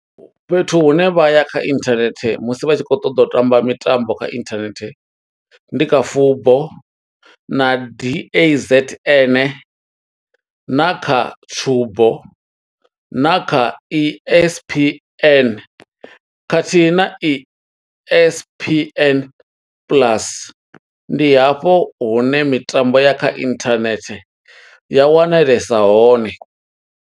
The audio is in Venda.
Fhethu hune vha ya kha internet, musi vha tshi khou ṱoḓa u tamba mitambo kha internet, ndi kha Fubo na D_A_Z_N na kha Tshubo, na kha E_S_P_N khathihi na E_S_P_N plus. Ndi hafho hune mitambo ya kha internet ya wanalesa hone.